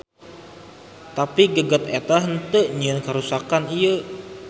Tapi geget eta henteu nyieun karuksakan ieu.